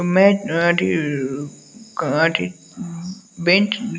मैं --